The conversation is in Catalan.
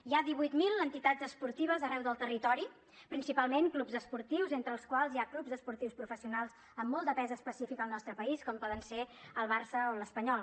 hi ha divuit mil entitats esportives arreu del territori principalment clubs esportius entre els quals hi ha clubs esportius professionals amb molt de pes específic al nostre país com poden ser el barça o l’espanyol